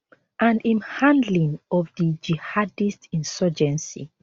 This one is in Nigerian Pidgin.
and im handling of di jihadist insurgency